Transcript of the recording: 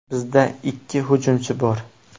Bizda ikki hujumchi bor.